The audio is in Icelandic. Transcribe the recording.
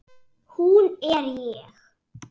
Hún er ég.